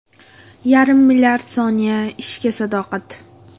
Yarim milliard soniya ishga sadoqat.